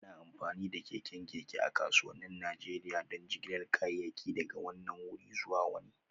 Ana amfani da keken keke a kasuwannin Najeriya don jigilar kayayyaki daga wannan wuri zuwa wani